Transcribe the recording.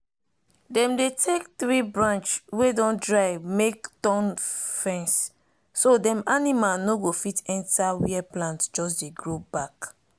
dem dey take tree branch wey don dry make thorn fenceso dem animal no go fit enter where plant just dey grow back.